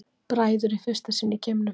Bræður í fyrsta sinn í geimnum